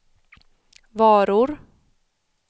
varor